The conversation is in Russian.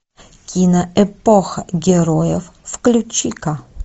кино эпоха героев включи ка